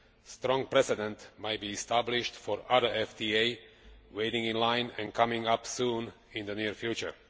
A strong precedent may be established for other FTAs waiting in line and coming up soon in the near future.